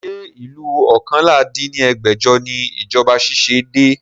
Ṣé ìlú oókànlá dín ní ẹgbẹ́jọ ni ìjọba ṣiṣẹ́ dé?